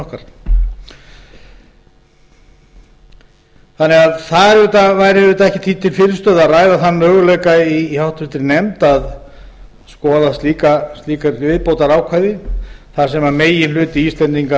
stjórnkerfinu okkar þannig að það væri auðvitað ekkert því til fyrirstöðu að ræða þann möguleika í háttvirtri nefnd að skoða slíkt viðbótarákvæði þar sem meginhluti íslendinga